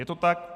Je to tak?